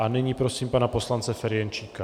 A nyní prosím pana poslance Ferjenčíka.